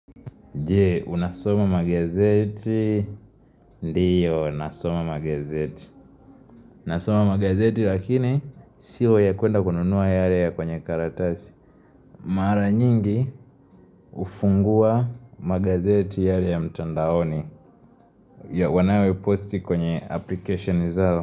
Je, unasoma magazeti, ndiyo, nasoma magazeti. Nasoma magazeti lakini, sio ya kuenda kununua yale ya kwenye karatasi. Mara nyingi hufungua magazeti yale ya mtandaoni ya wanao posti kwenye application zao.